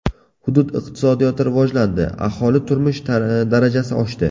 Hudud iqtisodiyoti rivojlandi, aholi turmush darajasi oshdi.